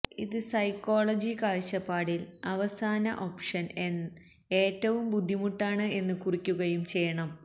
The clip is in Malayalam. ഇത് സൈക്കോളജി കാഴ്ചപ്പാടിൽ അവസാന ഓപ്ഷൻ ഏറ്റവും ബുദ്ധിമുട്ടാണ് എന്ന് കുറിക്കുകയും ചെയ്യണം